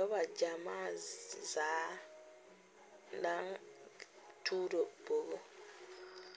Noba gyemaa zaa naŋ tuuroo bɔg